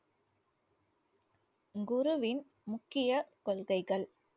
குருவின் முக்கிய கொள்கைகள்